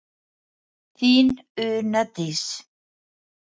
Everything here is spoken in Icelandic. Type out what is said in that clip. Þín Una Dís.